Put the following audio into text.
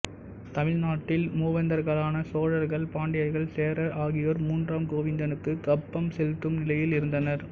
தமிழ் நாட்டின் மூவேந்தர்களான சோழர்கள் பாண்டியர்கள்சேரர் ஆகியோர் மூன்றாம் கோவிந்தனுக்குக் கப்பம் செலுத்தும் நிலையில் இருந்தனர்